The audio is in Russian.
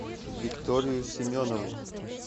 викторию семенову